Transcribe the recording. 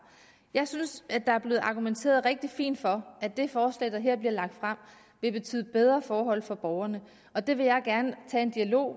jeg synes at der er blevet argumenteret rigtig fint for at det forslag der her bliver lagt frem vil betyde bedre forhold for borgerne og det vil jeg gerne tage en dialog